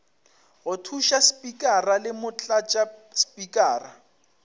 go thuša spikara le motlatšaspikara